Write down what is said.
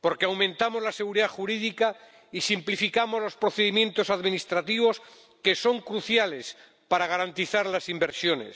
porque aumentamos la seguridad jurídica y simplificamos los procedimientos administrativos, que son cruciales para garantizar las inversiones